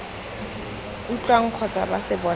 utlwang kgotsa ba se bonang